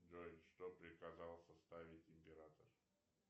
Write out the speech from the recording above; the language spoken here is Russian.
джой что приказал составить император